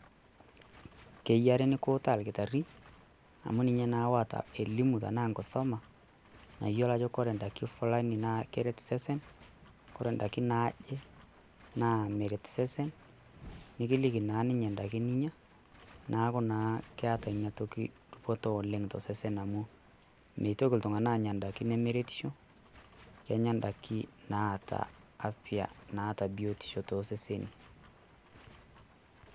Keyiare nikiutaa orkitarri, amu ninye naa oota enkilimu ashu enkisuma nayiolo ajo ore idaikin Fulani naa keret sesen, kore ndaiki naaje naa meret sesen nikiliki naa ninye endaiki ninya neaku naa keeta Ina toki dupoto oleng' tosesen amu meitoki iltung'anak aanya ndaiki nemeretisho Kenyaa endaiki naata afia naata biotisho too seseni.